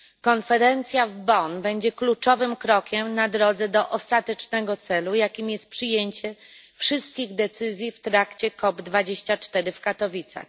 Konferencja w Bonn będzie kluczowym krokiem na drodze do ostatecznego celu, jakim jest przyjęcie wszystkich decyzji w trakcie COP24 w Katowicach.